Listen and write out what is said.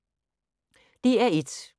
DR1